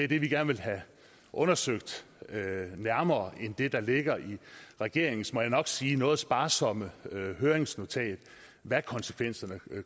vil vi gerne have undersøgt nærmere end det der ligger i regeringens må jeg nok sige noget sparsomme høringsnotat hvad konsekvenserne